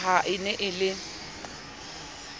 ka ha e ne e